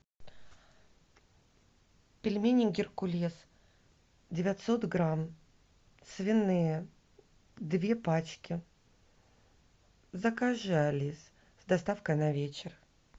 пельмени геркулес девятьсот грамм свиные две пачки закажи алис с доставкой на вечер